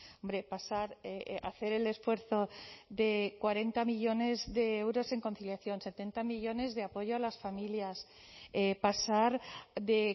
hombre pasar hacer el esfuerzo de cuarenta millónes de euros en conciliación setenta millónes de apoyo a las familias pasar de